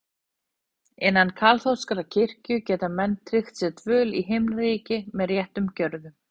Innan kaþólskrar kirkju geta menn tryggt sér dvöl í Himnaríki með réttum gjörðum.